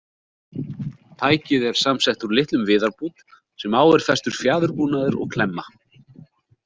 Tækið er samsett úr litlum viðarbút sem á er festur fjaðurbúnaður og klemma.